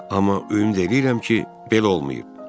Amma ümid eləyirəm ki, belə olmayıb.